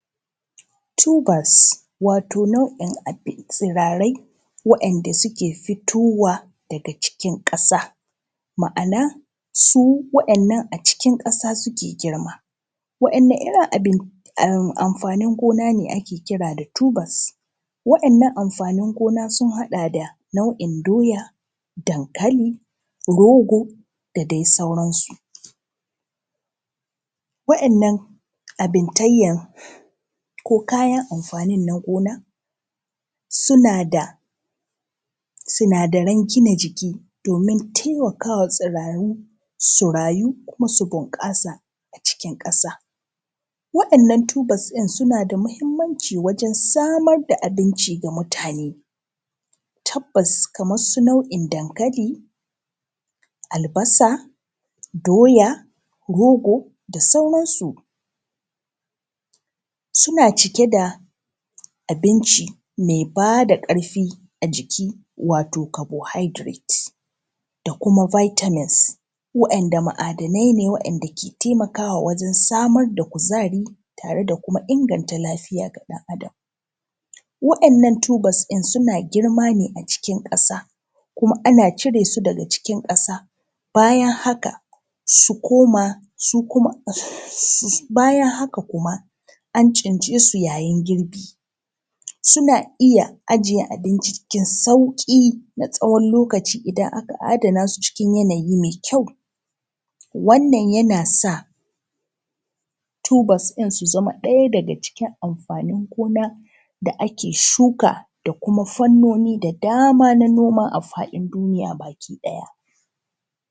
Tubers wato nau'i tsirarai wainda suke fitowa daga cikin ƙasa. Ma'ana su wa'innan a cikin ƙasa suke girma. Wa’inne irin amfanin gona ne ake kira da tubers? Wa'innan amfanin gona sun haɗa da nau'i doya, dankali, rogo da dai sauransu. Wa'innan abuntayya, ko kayan amfanin na gona suna da sunadaran gina jiki, domin taimakawa tsuraru su rayu kuma su bunƙasa a cikin ƙasa. Wa'innan tubers ɗin suna da mahimmanci wajen samar da abinci ga mutane. Tabbas kaman su nau'in dankali, albasa, doya, rogo da sauransu suna cike da abinci mai bada karfi a ciki wato carbohydrates, da kuma vitamins wa’inda ma'adanai ne wainda ke taimakawa wajan samar da kuzari, tare da kuma inganta lafiya ga ɗan Adam. Wa'innan tubers ɗin suna girma ne a cikin ƙasa, kuma ana cire su daga cikin ƙasa. Bayan haka Kuma an tsince su yayin girbi suna iya ajiye abinci cikin sauki na tsawon lokacin idan aka adanasu cikin yanayin mai kyau. Wannan yanas a tubers ɗin su zama ɗaya daga cikin amfanin gona da ake shuka da kuma fannoni da dama na noma a faɗin duniya baki ɗaya.